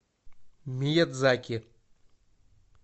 миядзаки